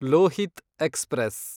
Lohith express